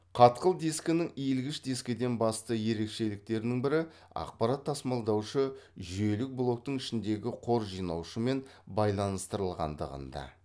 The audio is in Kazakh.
қатқыл дискінің иілгіш дискіден басты ерекшеліктерінің бірі ақпарат тасымалдаушы жүйелік блоктың ішіндегі қор жинаушымен байланыстырылғандығында